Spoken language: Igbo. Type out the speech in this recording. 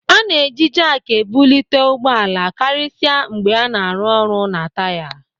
A na-eji jaak ebulite ụgbọala karịsịa mgbe a na-arụ ọrụ na taya.